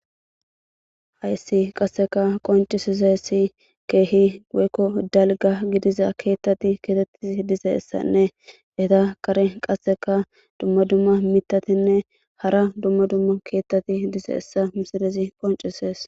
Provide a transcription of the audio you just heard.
hayssi qasseka qoncisizessi keehi weykko dalga gidiza keettati keetettis dizeessanne eta kare qasseka dumma dumma mitatinne hara dumma dumma keettati dizeessa misidezi qoncisees